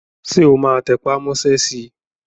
Ṣé o máa tẹpà mọ́ sẹ́ si?